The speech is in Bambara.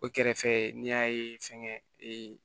O kɛrɛfɛ n'i y'a ye fɛnkɛ ee